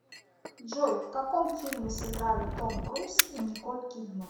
джой в каком фильме сыграли том круз и николь кидман